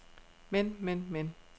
men men men